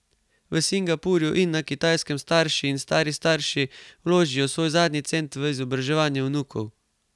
V Singapurju in na Kitajskem starši in stari starši vložijo svoj zadnji cent v izobraževanje vnukov.